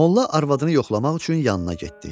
Molla arvadını yoxlamaq üçün yanına getdi.